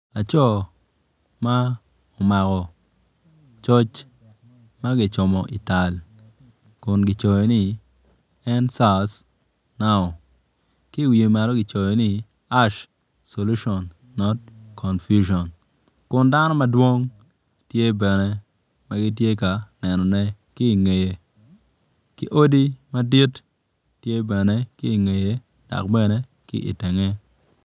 Laco ma omako coc ma kicomo ital kun kun kicoyo ni en SARS now ki iwiye malo kicoyo ni us solution not confusion kun dano madwong tye bene ma gitye ka nenone ki ingeye ki odi madit tye bene ki ingeye dok bene tye itenge.